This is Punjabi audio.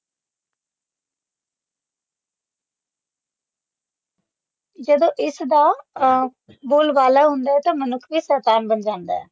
ਜਦੋ ਇਸ ਦਾ ਅ ਬੋਲਬਾਲਾ ਹੁੰਦਾ ਹੈ ਤਾ ਮਨੁੱਖ ਵੀ ਸ਼ੈਤਾਨ ਬਣ ਜਾਂਦਾ ਹੈ